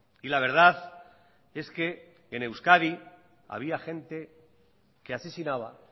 y la verdad es que en euskadi había gente que asesinaba